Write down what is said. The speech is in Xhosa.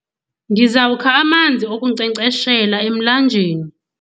Ndizawukha amanzi okunkcenkceshela emlanjeni.